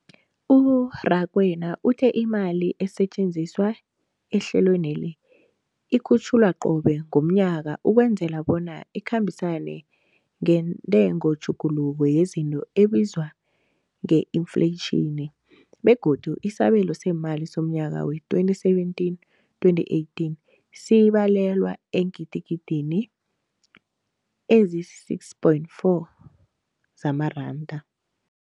U-Rakwena uthe imali esetjenziswa ehlelweneli ikhutjhulwa qobe ngomnyaka ukwenzela bona ikhambisane nentengotjhuguluko yezinto ebizwa nge-infleyitjhini, begodu isabelo seemali somnyaka we-2017, 2018 sibalelwa eengidigidini ezisi-6.4 zamaranda.